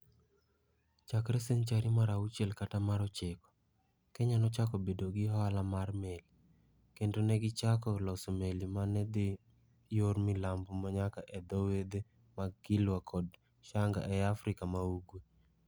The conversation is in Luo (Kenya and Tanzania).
Chakre senchari mar auchiel kata mar ochiko, Kenya nochako bedo gi ohala mar meli, kendo ne gichako loso meli ma ne dhi yor milambo nyaka e dho wedhe mag Kilwa kod Shanga e Afrika ma Ugwe.